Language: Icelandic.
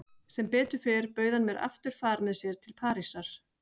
Sem betur fer bauð hann mér aftur far með sér til Parísar.